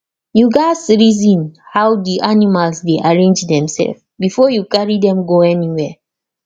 you gats reason how the animals dey arrange demself before you carry dem go anywhere